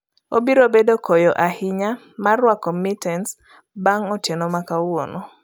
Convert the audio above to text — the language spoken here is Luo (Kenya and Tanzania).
Obiro bedo koyo ahinya mar rwako mitens bang'e otieno ma kawuono